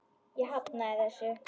Ég hafnaði þessu.